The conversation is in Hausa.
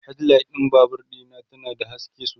headlight ɗin Babur Dina ta na da haske sosai